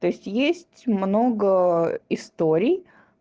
то есть есть много историй